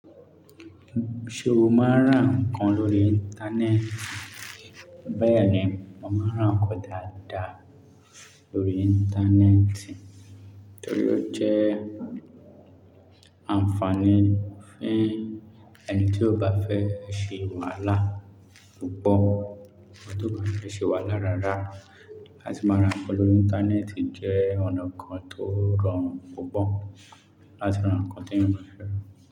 Ṣé o máa ń ràn ǹkan lórí Íńtánẹ́ẹ̀tì? Bẹ́ẹ̀ni, mo máa ń ràn ǹkan dáadáa lórí Íńtánẹ́ẹ̀tì torí ó jẹ́ ànfààní fún ẹni tí ó bá fẹ́ ṣe wàhálà púpọ̀, ọ̀tọ̀ọ̀tọ̀ ṣe wàhálà rárá. Àti máa ràn ǹkan lórí Íńtánẹ́ẹ̀tì jẹ́ ọ̀nà kan tó rọrùn púpọ̀ láti ràn ǹkan tí ènìyàn fẹ́ rà.